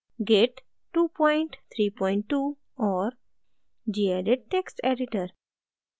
git 232 और gedit text editor